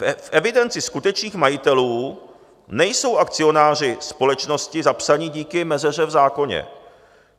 V evidenci skutečných majitelů nejsou akcionáři společnosti zapsáni díky mezeře v zákoně.